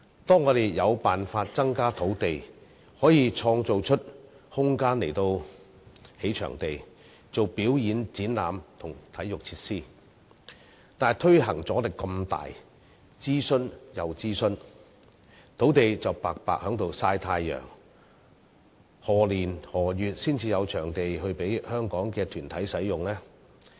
當我們有辦法增加土地，可以創造空間來興建場地、舉辦表演、展覽和體育設施時，卻又遇上巨大的推行阻力，令我們要諮詢再諮詢，土地白白在閒置"曬太陽"，何年何月才可以提供場地給香港團體使用？